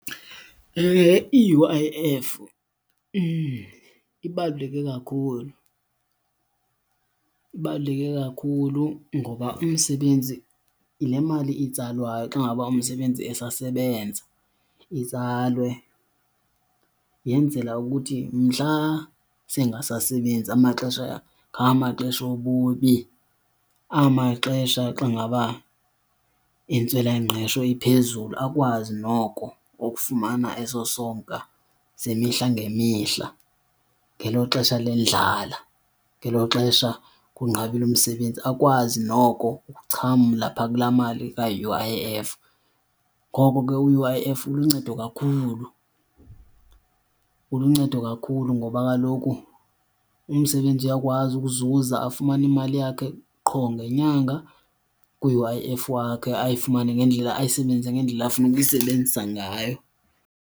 I-U_I_F ibaluleke kakhulu, ibaluleke kakhulu ngoba umsebenzi yile mali itsalwayo xa ngaba umsebenzi esasebenza. Itsalwe yenzela ukuthi mhla sengasasebenzi, amaxesha ngamaxesha obubi, amaxesha xa ngaba intswelangqesho iphezulu, akwazi noko ukufumana eso sonka semihla ngemihla. Ngelo xesha lendlala, ngelo xesha kunqabe umsebenzi, akwazi noko ukuxhamla phaa kulaa mali ka-U_I_F. Ngoko ke u-U_I_F uluncedo kakhulu, uluncedo kakhulu ngoba kaloku umsebenzi uyakwazi ukuzuza afumane imali yakhe qho ngenyanga ku-U_I_F wakhe ayifumane ngendlela, ayisebenzise ngendlela afuna ukuyisebenzisa ngayo.